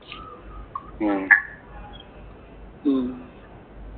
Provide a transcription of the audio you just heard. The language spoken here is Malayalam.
ആഹ് ഉം